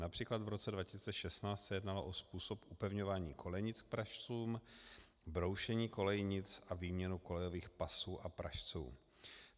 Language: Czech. Například v roce 2016 se jednalo o způsob upevňování kolejnic k pražcům, broušení kolejnic a výměnu kolejových pasů a pražců.